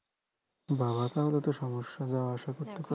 বা বা তাহলে তো সমস্যা যাওয়া আসা করতে